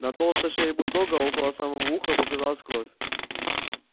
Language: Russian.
на толстой шее бульдога около самого уха показалась кровь